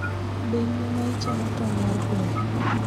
Be in ema ichiemo tong' mar gweno?